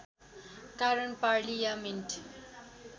कारण पार्लियामेन्ट